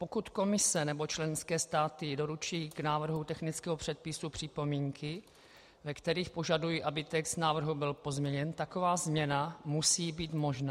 Pokud Komise nebo členské státy doručí k návrhu technického předpisu připomínky, ve kterých požadují, aby text návrhu byl pozměněn, taková změna musí být možná.